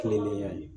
Kilenlen ya ye